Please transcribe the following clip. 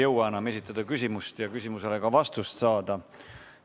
Kahjuks ei jõua me enam küsimust esitada ega küsimusele ka vastust saada.